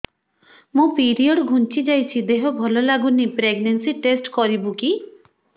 ମୋ ପିରିଅଡ଼ ଘୁଞ୍ଚି ଯାଇଛି ଦେହ ଭଲ ଲାଗୁନି ପ୍ରେଗ୍ନନ୍ସି ଟେଷ୍ଟ କରିବୁ କି